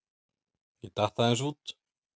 Ég datt aðeins út.